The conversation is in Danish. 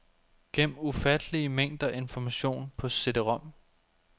Gem ufattelige mængder information på cd-rom.